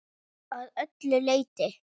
Að öllu leyti.